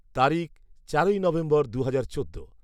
তারিখ চারোই নভেম্বর দুহাজার চোদ্দ